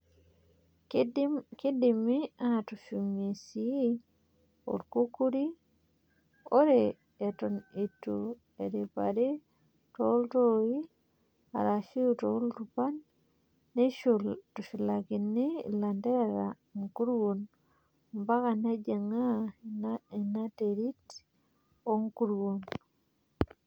Keidimi atushumie sii orkukuri. Ore eton eitu eriipari tooltoi arashu iltupan neitushulakini ilanterera nkuruon ompaka nejingaa inanterit oo nkuruon.